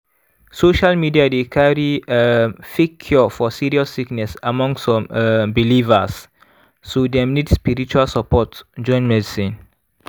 social media dey carry um fake cure for serious sickness among some um believers so dem nid spiritual support join medicine.